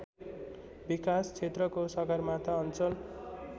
विकासक्षेत्रको सगरमाथा अञ्चल